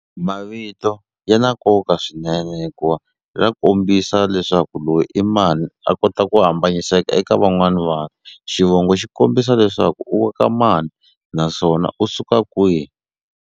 Mavito ya na nkoka swinene hikuva ra kombisa leswaku loyi i mani a kota ku hambaniseka eka van'wani vanhu xivongo xi kombisa leswaku u wa ka mani naswona u suka kwihi.